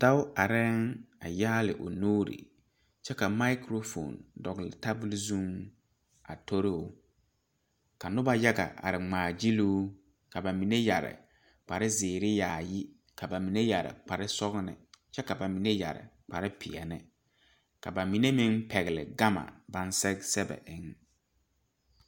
Dao arɛɛŋ a yɛŋ a yaale o nuure kyɛ ka mikrofoon dɔgle tabol zuŋ a tori o ka nobɔ yaga are ngmaa gyiluu ka ba mine yɛre kpare zeere yaayi ka ka mine yɛre kpare sɔglɔ kyɛ ka ba mine yɛre kpare peɛle ka ba mine meŋ pɛgle gama baŋ sɛge sɛge eŋ.